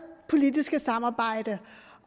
politiske samarbejde